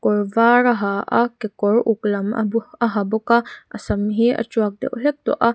kawr var a ha a kekawr uk lam a hu a ha bawk a a sam hi a tuak deuh hlek tawh a.